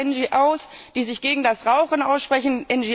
Über NGOs, die sich gegen das Rauchen aussprechen.